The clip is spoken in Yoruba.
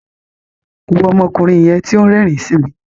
Wo ọmọkùnrin yẹn ti o n rérìn si mi.